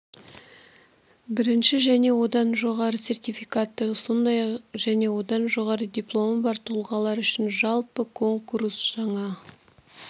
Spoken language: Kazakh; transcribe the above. бірінші және одан жоғары сертификаты сондай-ақ және одан жоғары дипломы бар тұлғалар үшін жалпы конкурс жаңа